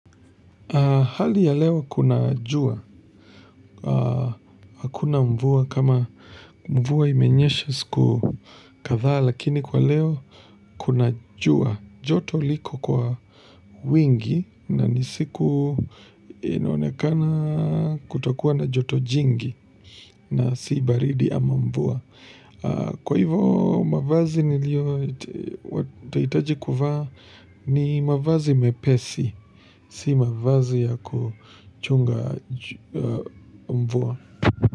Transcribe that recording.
Hali ya leo kuna jua, kuna mvua kama mvua imenyesha siku kadha, lakini kwa leo kuna jua, joto liko kwa wingi na nisiku inonekana kutokuwa na joto jingi na si baridi ama mvua. Kwa hivo mavazi nilio watahitaji kufaa ni mavazi mepesi, si mavazi ya kuchunga mvua.